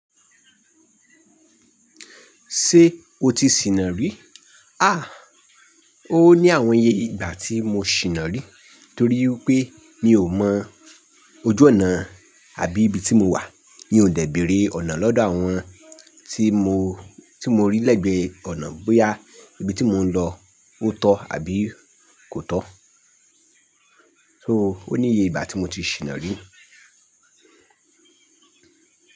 Ṣé o ti sìnà rí? À, ó ní àwọn iye ìgbà tí mo sìnà rí torí wipé mi ò mọ ojú ọ̀nà àbí ibi tí mo wà. Mi ò dẹ̀ beèrè ọ̀nà lọ́dọ̀ àwọn tí mo, tí mo rí lẹ́gbẹ̀ẹ́ ọ̀nà bóyá ibi tí mò ń lọ ó tọ́ àbí kò tọ́. So ó ní iye ìgbà tí mo ti sìnà rí.